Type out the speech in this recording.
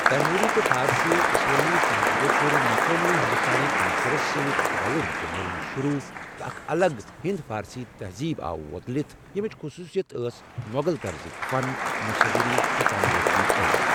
تیموری تہٕ فارسی اسلٲمی تہزیٖبو کوٚر مقٲمی ہندوستانی عنصُرس سۭتۍ رَلُن تہٕ مِلُن شروع، تہٕ اکھ الگ ہند فارسی تہزیٖب آیہٕ وۄتلتھ ییٚمچ خصوصیت ٲس مۄغل طَرزٕکۍ فن، مصوری تہٕ تعمیٖرٲتی عٔلِم